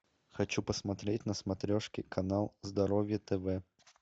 хочу посмотреть на смотрешке канал здоровье тв